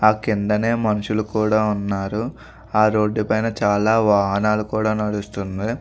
ఆ కిందనే మనుషులు కూడా ఉన్నారు ఆ రోడ్డు పైన మీద చాలా వాహనాలు కూడా నడుస్తున్నాయ్.